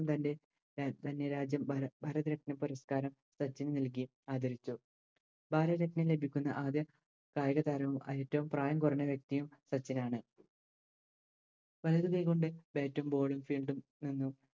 തൻറെ തന്നെ രാജ്യം ഭര ഭാരത് രത്ന പുരസ്ക്കാരം സച്ചിന് നൽകി ആദരിച്ചു ഭാരത രത്‌നം ലഭിക്കുന്ന ആദ്യ കായികതാരോം ഏറ്റോം പ്രായം കുറഞ്ഞ വ്യക്തിയും സച്ചിനാണ് വലതുകൈകൊണ്ട് Bat ഉം Ball ഉം Field ഉം